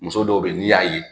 Muso dɔw be yen n'i y'a ye